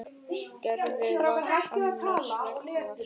Gerður var annars vegar.